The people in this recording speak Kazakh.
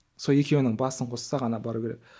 сол екеуінің басын қосса ғана бару керек